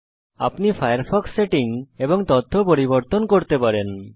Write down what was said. এখন আপনি Firefox settings এবং তথ্য পরিবর্তন করতে পারেন